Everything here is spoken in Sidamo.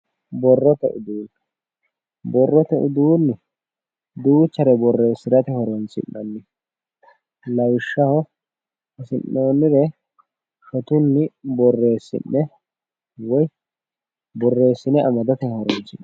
Borrote uduunne borrote udiinni duuchare borreessairate horonsi'nanniho lawishshaho hasi'noonnire shotunni borreessi'ne woyi borreessine amadate horonsi'nanniho